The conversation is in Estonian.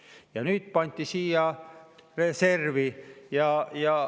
Ja nüüd pandi see siia reservi.